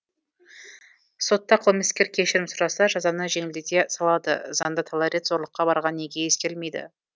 сотта қылмыскер кешірім сұраса жазаны жеңілдете салады заңда талай рет зорлыққа барғаны неге ескерілмейді